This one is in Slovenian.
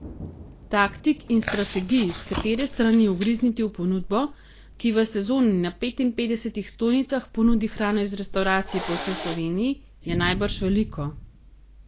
Taktik in strategij, s katere strani ugrizniti v ponudbo, ki v sezoni na petinpetdesetih stojnicah ponudi hrano iz restavracij po vsej Sloveniji, je najbrž veliko.